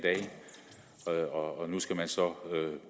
dage og nu skal vi så